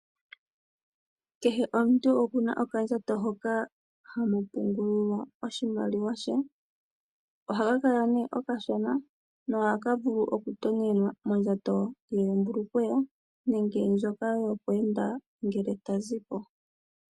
Kehe omuntu oku na okandjato hoka hamu pungulwa oshimaliwa she. Ohaka kala nee okashona noha ka vulu okutonyenwa mondjato yoombulukweya nenge ndjoka yokweenda ngele ta zi po.